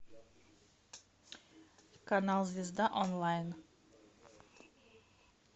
канал звезда онлайн